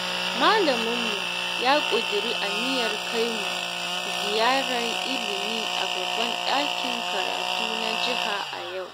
Malaminmu ya ƙudiri aniyar kai mu ziyarar ilimi a babban ɗakin karatu na jiha a yau